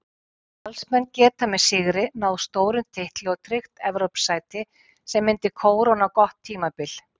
Valsmenn geta með sigri náð stórum titli og tryggt Evrópusæti sem myndi kóróna gott tímabil.